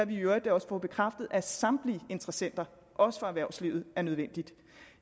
vi i øvrigt også får bekræftet af samtlige interessenter også fra erhvervslivet er nødvendigt